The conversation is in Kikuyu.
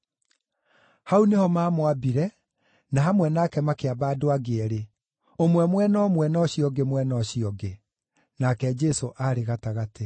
Hau nĩho maamwambire, na hamwe nake makĩamba andũ angĩ eerĩ, ũmwe mwena ũmwe na ũcio ũngĩ mwena ũcio ũngĩ; nake Jesũ arĩ gatagatĩ.